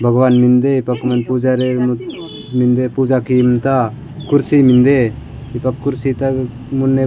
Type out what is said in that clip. भगवान मिन्दे पकवन पुजा रे मक मिन्दे पूजा किम त कुर्सी मिन्दे दीपक कुर्सी तग मुन्ने --